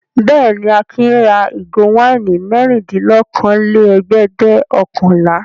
Bẹ́ẹ̀ ni, Akin ra ìgò wáìnì mẹ́rìndínlókòólẹ́ẹ̀dẹ́gbẹ̀ọ̀kànlá.